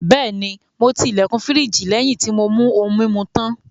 Bẹ́ẹ̀ni, mo ti ilẹ̀kùn firiji lẹ́yìn tí mo mú ohun-mímu tán.